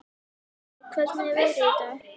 Harrý, hvernig er veðrið í dag?